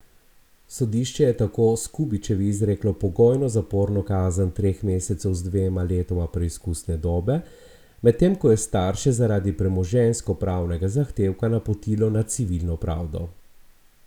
Sodišče je tako Skubičevi izreklo pogojno zaporno kazen treh mesecev z dvema letoma preizkusne dobe, medtem ko je starše zaradi premoženjsko pravnega zahtevka napotilo na civilno pravdo.